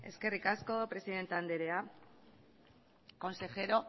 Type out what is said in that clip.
eskerrik asko presidente anderea consejero